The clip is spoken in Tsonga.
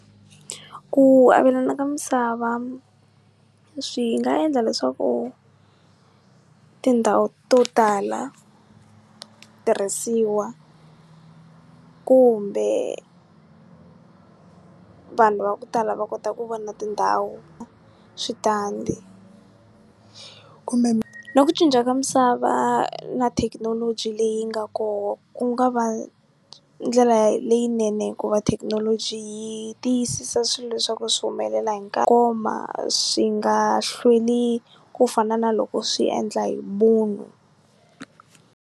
Ku avelana ka misava swi nga endla leswaku tindhawu to tala tirhisiwa kumbe vanhu va ku tala va kota ku vona tindhawu, switandi kumbe na ku cinca ka misava na thekinoloji leyi nga koho ku nga va ndlela leyinene hikuva thekinoloji yi tiyisisa swilo leswaku swi humelela hi nkarhi wo koma swi nga hlweli ku fana na loko swi endla hi munhu.